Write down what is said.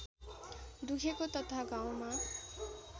दुखेको तथा घाउमा